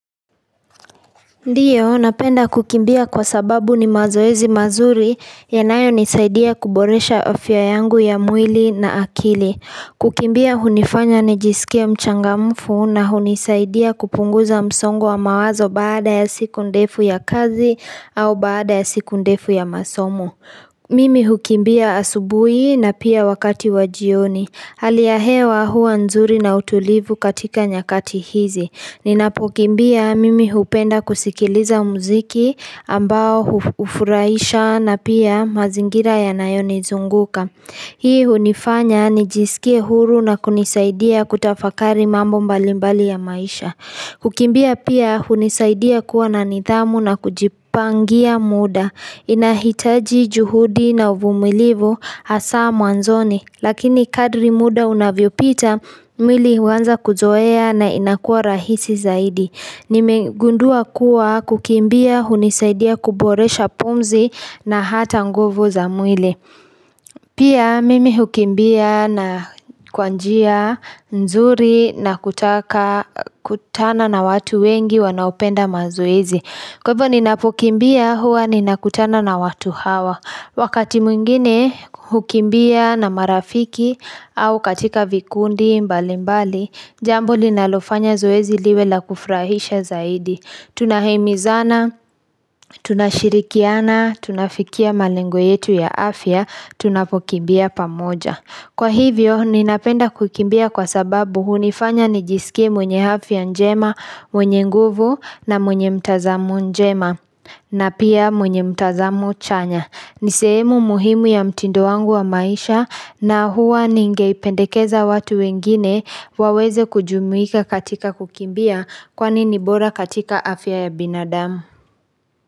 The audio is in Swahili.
Ndiyo, napenda kukimbia kwa sababu ni mazoezi mazuri yanayonisaidia kuboresha afya yangu ya mwili na akili. Kukimbia hunifanya nijisikie mchangamfu na hunisaidia kupunguza msongo wa mawazo baada ya siku ndefu ya kazi au baada ya siku ndefu ya masomo. Mimi hukimbia asubuhi na pia wakati wa jioni. Hali ya hewa huwa nzuri na utulivu katika nyakati hizi. Ninapokimbia mimi hupenda kusikiliza muziki ambao hufurahisha na pia mazingira yanayonizunguka. Hii hunifanya nijisikie huru na kunisaidia kutafakari mambo mbalimbali ya maisha. Kukimbia pia hunisaidia kuwa na nidhamu na kujipangia muda. Inahitaji juhudi na uvumilivu hasa mwanzoni. Lakini kadri muda unavyopita, mwili huanza kuzoea na inakuwa rahisi zaidi. Nimegundua kuwa kukimbia, hunisaidia kuboresha pumzi na hata nguvu za mwili. Pia mimi hukimbia na kwa njia, nzuri na kutaka kutana na watu wengi wanaopenda mazoezi. Kwa hivyo ninapokimbia, huwa ninakutana na watu hawa. Wakati mwingine hukimbia na marafiki au katika vikundi mbali mbali, jambo linalofanya zoezi liwe la kufrahisha zaidi. Tunahimizana, tunashirikiana, tunafikia malengo yetu ya afya, tunapokimbia pamoja. Kwa hivyo, ninapenda hukimbia kwa sababu hunifanya nijisikie mwenye afya njema, mwenye nguvu na mwenye mtazamo njema na pia mwenye mtazamo chanya. Ni sehemu muhimu ya mtindo wangu wa maisha na huwa ningeipendekeza watu wengine waweze kujumuika katika kukimbia kwani nibora katika afya ya binadamu.